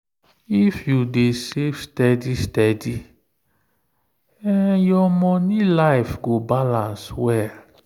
if you dey save steady steady your money life go balance well.